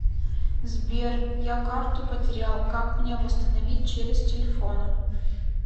сбер я карту потерял как мне восстановить через телефона